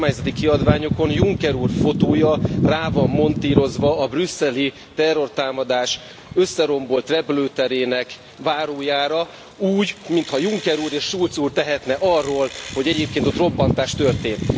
a kormányzati kiadványokon Juncker úr fotója rá van montírozva a brüsszeli terrortámadás összerombolt repülőterének várójára úgy, mintha Juncker úr és Schulz úr tehetne arról, hogy egyébként ott robbantás történt.